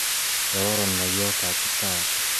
Kararan ngolyot tab kiptayat